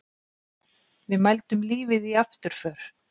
Við mældum lífið í afturför.